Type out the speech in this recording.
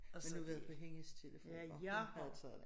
Men nu var det på hendes telefon og hun havde taget det